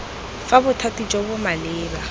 fa bothati jo bo maleba